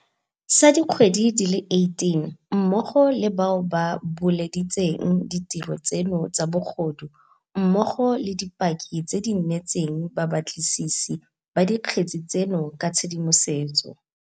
sa dikgwedi di le 18, mmogo le bao ba buleditseng ditiro tseno tsa bogodu mmogo le dipaki tse di neetseng babatlisisi ba dikgetse tseno ka tshedimosetso.